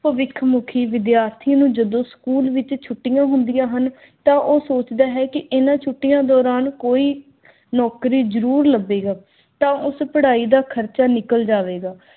ਭਵਿੱਖ ਮੁਖੀ ਵਿਦਿਆਰਥੀਆਂ ਨੂੰ ਜਦੋਂ ਸਕੂਲ ਵਿੱਚ ਛੁੱਟੀਆਂ ਹੁੰਦੀਆਂ ਹਨ ਤਾਂ ਉਹ ਸੋਚਦਾ ਹੈ ਕੀ ਹਨ ਛੁੱਟੀਆਂ ਦੌਰਾਨ ਕੋਈ ਨੌਕਰੀ ਜ਼ਰੂਰ ਲੱਭੇਗਾ ਤਾਂ ਉਸ ਪੜ੍ਹਾਈ ਦਾ ਖਰਚਾ ਨਿਕਲ ਜਾਵੇਗਾ।